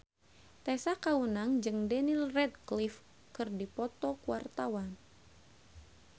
Tessa Kaunang jeung Daniel Radcliffe keur dipoto ku wartawan